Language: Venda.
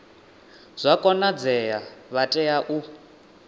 zwa konadzea vha tea u